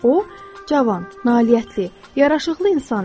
O cavan, nailiyyətli, yaraşıqlı insan idi.